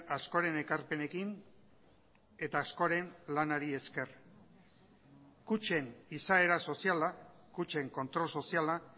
askoren ekarpenekin eta askoren lanari esker kutxen izaera soziala kutxen kontrol soziala